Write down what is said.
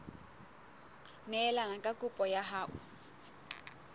neelane ka kopo ya hao